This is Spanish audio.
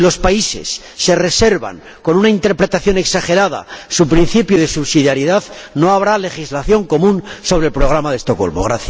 Si los países se reservan, con una interpretación exagerada, su principio de subsidiariedad, no habrá legislación común sobre el programa de Estocolmo.